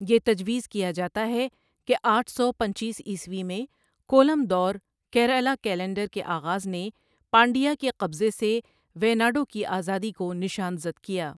یہ تجویز کیا جاتا ہے کہ آٹھ سو پنچیس عیسوی میں کولم دور، کیرالہ کیلنڈر، کے آغاز نے پانڈیا کے قبضے سے ویناڈو کی آزادی کو نشان زد کیا۔